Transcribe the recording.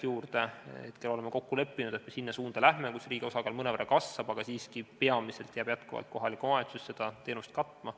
Praegu oleme kokku leppinud, et me läheme selles suunas, kus riigi osakaal mõnevõrra kasvab, aga kohalik omavalitsus jääb siiski peamiselt seda teenust katma.